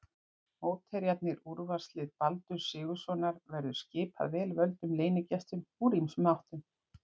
Mótherjarnir, Úrvalslið Baldurs Sigurðssonar verður skipað vel völdum leynigestum úr ýmsum áttum.